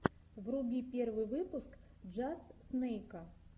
вруби первый выпуск джаст снэйка